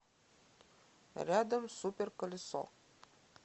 рядом супер колесо